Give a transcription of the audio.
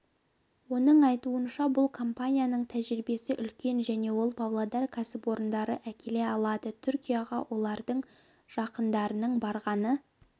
оның айтуынша бұл компанияның тәжірибесі үлкен және ол павлодар кәсіпорындарды әкеле алады түркияға олардың жақындарының барғаны